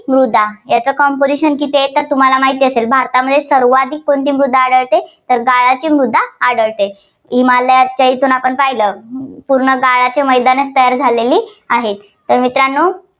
मृदा, त्याचं composition किती आहे तर तुम्हाला माहिती असेल भारतामध्ये सर्वाधिक कोणती मृदा आढळते तर गाळाची मृदा आढळते. हिमालयाच्या येथून आपण पाहिले तर पूर्ण गाळाचे मैदानच तयार झालेली आहेत. तर मित्रांनो